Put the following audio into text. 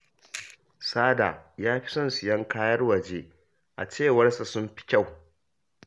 Sada ya fi son sayen kayan waje, a cewar sa sun fi kyau